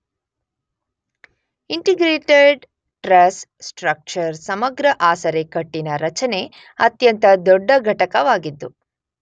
integrated truss structure ಸಮಗ್ರ ಆಸರೆ ಕಟ್ಟಿನ ರಚನೆ ಅತ್ಯಂತ ದೊಡ್ಡ ಘಟಕವಾಗಿದ್ದು